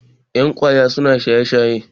yan kwaya suna shaye-shaye